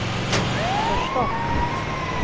förstått